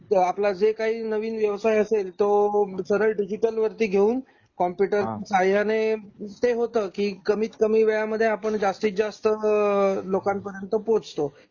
आपला जे काही नवीन व्यवसाय असेल तो सरळ डिजिटल वरती घेऊन कॉम्प्युटर सहाय्याने हा ते होत कि कमीत कमी वेळा मध्ये आपण जास्तीत जास्त लोकांपर्यंत पोहोचतो.